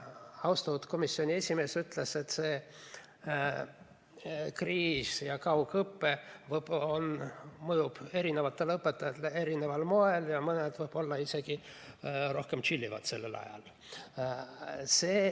Austatud komisjoni esimees ütles, et see kriis ja kaugõpe mõjub erinevatele õpetajatele erineval moel ja mõni võib-olla isegi rohkem tšillib sellel ajal.